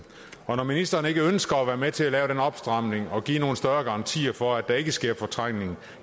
og når ministeren ikke ønsker at være med til at lave den opstramning og give nogle større garantier for at der ikke sker fortrængning